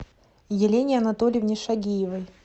елене анатольевне шагиевой